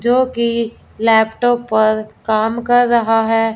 जो कि लैपटॉप पर काम कर रहा है।